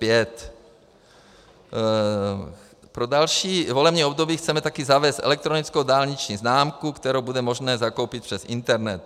Pro další volební období chceme také zavést elektronickou dálniční známku, kterou bude možné zakoupit přes internet.